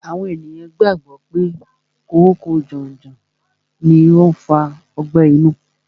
Àwọn ènìyàn gbàgbọ́ pé kòóko janjan ni ó ń fa ọgbẹ́ inú.